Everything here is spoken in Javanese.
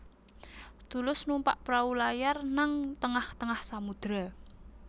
Tulus numpak prau layar nang tengah tengah samudra